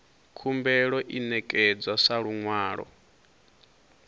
khumbelo i ṋekedzwa sa luṅwalo